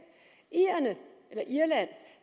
irland